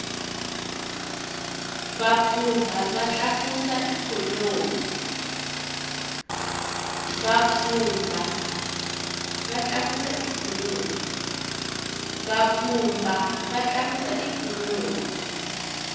vapfhumba va tlakusa ikhonomi